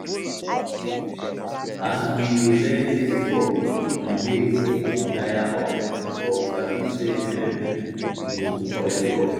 as we dey learn dis work some days dey tire us but we sabi say um we go soon collect profit